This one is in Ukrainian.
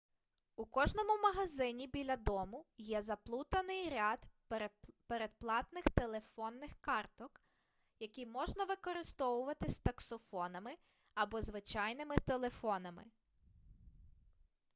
у кожному магазині біля дому є заплутаний ряд передплатних телефонних карток які можна використовувати з таксофонами або звичайними телефонами